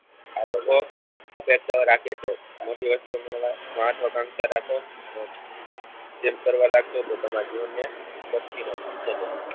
આ લોકો અપેક્ષાઓ રાખે છે મોટી વસ્તુ મેળવવા મહત્વા કાંક્ષા રાખો અને તેમ કરવા લાગશો તો તમારા જીવનને શક્તિને મન્ત્ય લઈ જાય